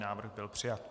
Návrh byl přijat.